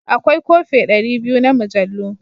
Akwai kofe ɗari biyu na mujallu.